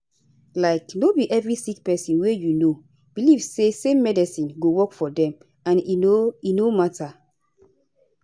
like no be every sick pesin wey you know belief say same medicine go work for dem and e no e no matter